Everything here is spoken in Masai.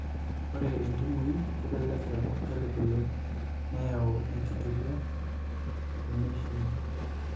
Ore intubuin kelelek eeku kelibilib neyau enkituria teneishiu.